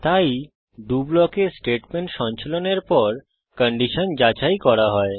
তাই ডো ব্লকে স্টেটমেন্ট সঞ্চালনের পর কন্ডিশন যাচাই করা হয়